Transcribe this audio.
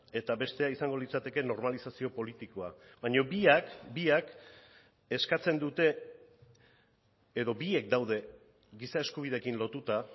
eta bestea izango litzateke normalizazio politikoa baina biak biak eskatzen dute edo biek daude giza eskubideekin lotuta